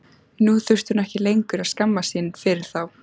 Nú þurfti hún ekki lengur að skammast sín fyrir þá.